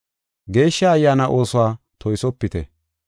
Geeshsha Ayyaana oosuwa toysopite.